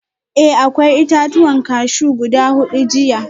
Eh akwai itatuwan cashew guda hudu jiya